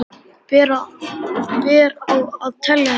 Ber að átelja þetta.